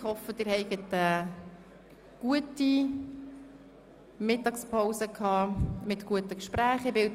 Ich hoffe, Sie haben eine gute Mittagspause mit guten Gesprächen verbracht.